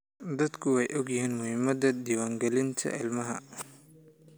Dadku way ogyihiin muhiimada diwaan galinta ilmaha.